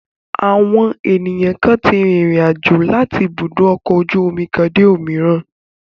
Àwọn ènìyàn kan tí rìnrìn-àjò láti ibùdó ọkọ̀ ojú-omi kan dé ibòmíràn.